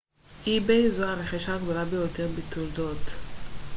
זו הרכישה הגדולה ביותר בתולדות ebay